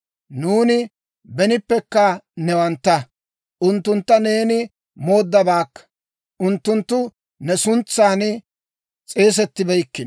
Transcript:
Nuuni benippekka newantta; unttuntta neeni mooddabaakka; unttunttu ne suntsan s'eesettibeykkino.